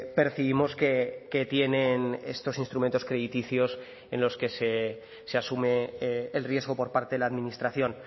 percibimos que tienen estos instrumentos crediticios en los que se asume el riesgo por parte de la administración